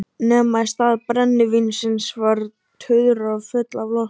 Nema í stað brennivíns var tuðra full af lofti.